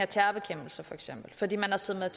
terrorbekæmpelse fordi man har siddet